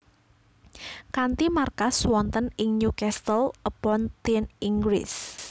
Kanthi markas wonten ing Newcastle upon Tyne Inggris